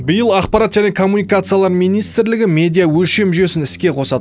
биыл ақпарат және коммуникациялар министрлігі медиа өлшем жүйесін іске қосады